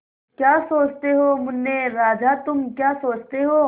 क्या सोचते हो मुन्ने राजा तुम क्या सोचते हो